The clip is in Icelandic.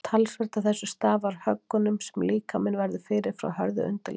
Talsvert af þessu stafar af höggunum sem líkaminn verður fyrir frá hörðu undirlagi.